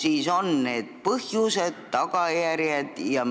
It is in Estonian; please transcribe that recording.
Kus on see põhjus ja millest sellised tagajärjed?